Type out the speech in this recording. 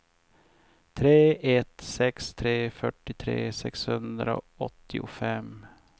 tre ett sex tre fyrtiotre sexhundraåttiofem